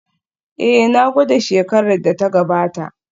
Ee, na gwada shekarar da ta gabata